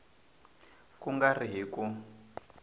ku nga ri hi ku